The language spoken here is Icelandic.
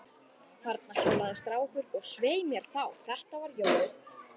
Þarna hjólaði strákur, og svei mér þá, þetta var Jói.